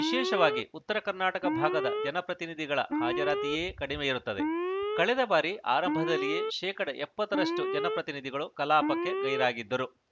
ವಿಶೇಷವಾಗಿ ಉತ್ತರ ಕರ್ನಾಟಕ ಭಾಗದ ಜನಪ್ರತಿನಿಧಿಗಳ ಹಾಜರಾತಿಯೇ ಕಡಿಮೆಯಿರುತ್ತದೆ ಕಳೆದ ಬಾರಿ ಆರಂಭದಲ್ಲಿಯೇ ಶೇಕಡಾ ಎಪ್ಪತ್ತರಷ್ಟುಜನಪ್ರತಿನಿಧಿಗಳು ಕಲಾಪಕ್ಕೆ ಗೈರಾಗಿದ್ದರು